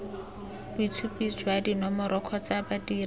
boitshupo jwa dinomoro kgotsa badiri